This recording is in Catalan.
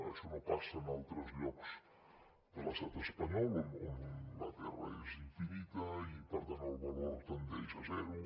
això no passa en altres llocs de l’estat espanyol on la terra és infinita i per tant el valor tendeix a zero